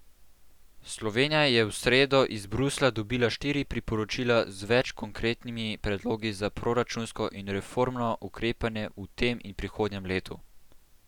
Slovenija je v sredo iz Bruslja dobila štiri priporočila z več konkretnimi predlogi za proračunsko in reformno ukrepanje v tem in prihodnjem letu.